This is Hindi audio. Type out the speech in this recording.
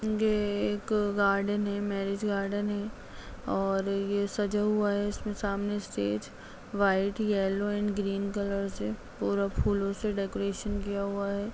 ये एक गार्डन है मेर्रिज गार्डन है और ये सजा हुआ है इसमें सामने stage white yellow and green colour से पूरा फूलो से डेकोरेशन किया हुआ है।